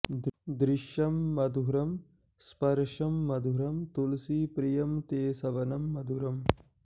दृश्यं मधुरं स्पर्शं मधुरं तुलसीप्रिय ते सवनं मधुरम्